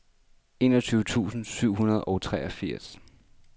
enogtyve tusind syv hundrede og treogfirs